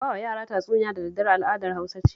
Ba wa yara tatsuniya da daddare al'adar Hausa ce